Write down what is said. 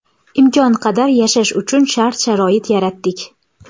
Imkon qadar yashash uchun shart-sharoit yaratdik.